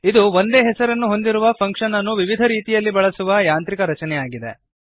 ಇದು ಒಂದೇ ಹೆಸರನ್ನು ಹೊಂದಿರುವ ಫಂಕ್ಶನ್ ಅನ್ನು ವಿವಿಧ ರೀತಿಯಲ್ಲಿ ಬಳಸುವ ಯಾಂತ್ರಿಕರಚನೆಯಾಗಿದೆ